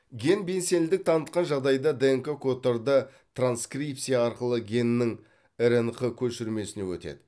ген белсендік танытқан жағдайда днк кодтары транскрипция арқылы геннің рнқ көшірмесіне өтеді